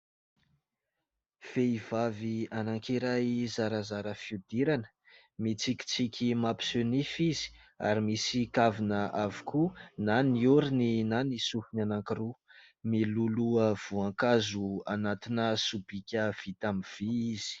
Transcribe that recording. Vehivavy anankiray zarazara fihodirana, mitsikitsiky mampiseho nify izy ary misy kavina avokoa na ny orony na ny sofina anankiroa. Miloloha voankazo anatina sobika vita amin'ny vy izy.